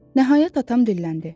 Nəhayət atam dilləndi.